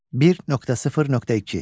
1.0.2.